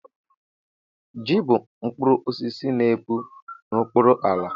ji bụ mkpụrụ osisi n'epu n'okpuru ala